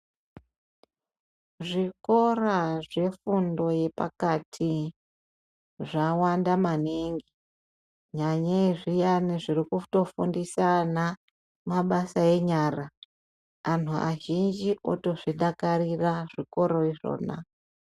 Zvikora zvefundo yepakati zvawanda maningi nyanyei zviyani zviri kufundisa vana mabasa enyara vantu vazhinji vozvifakariria izvona.